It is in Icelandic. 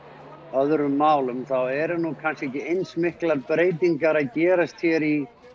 öðrum málum eru ekki kannski ekki eins miklar breytingar að gerast hér í